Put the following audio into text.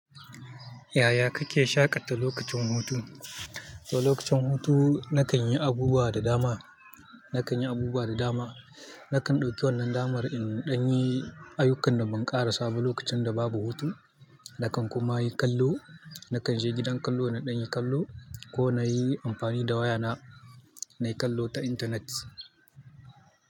Yaya kake shaƙata lokacin hutu? To lokacin hutu na kan yi abubuwa da dama, na kan yi abubuwa da dama. Na kan ɗauki wannan damar in ɗan yi ayyukan da ban ƙara saba lokacin da babu hutu. Na kan kuma yi kallo, na kan je gidan kallo na ɗan yi kallo ko na yi amfani da wayana na yi kallo ta intanet.